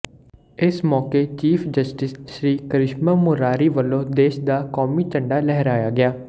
ਇਸ ਮੌਕੇ chief justice Shri Krishna Murari ਵਲੋਂ ਦੇਸ਼ ਦਾ ਕੌਮੀ ਝੰਡਾ ਲਹਿਰਾਇਆ ਗਿਆ